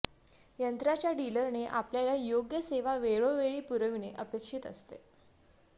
यंत्राच्या डीलरने आपल्याला योग्य सेवा वेळोवेळी पुरविणे अपेक्षित असते